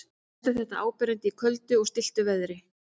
mest er þetta áberandi í köldu og stilltu veðri